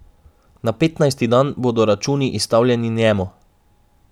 Na petnajsti dan bodo računi izstavljeni njemu.